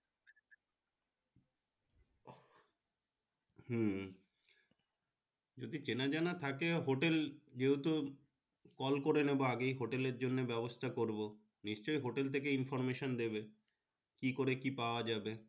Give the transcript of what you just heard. হি যদি চেনা জানা থাকে hotel যেহেতু call করে নেবো আগেই hotel এর জন্য ব্যাবস্তা করব নিশ্চয় hotel থাকে Information দেবে কি করে কি পাওয়া যাবে।